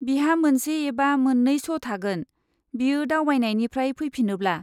बिहा मोनसे एबा मोन्नै श' थागोन बियो दावबायनायनिफ्राय फैफिनोब्ला।